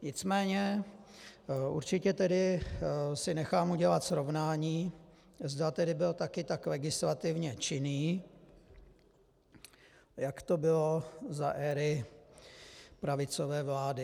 Nicméně určitě tedy si nechám udělat srovnání, zda tedy byl také tak legislativně činný, jak to bylo za éry pravicové vlády.